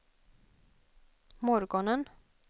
morgonen